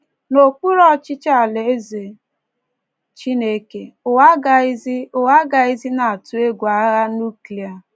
N’okpuru ọchịchị Alaeze Chineke, ụwa agaghịzi, ụwa agaghịzi na - atụ egwu agha nuklia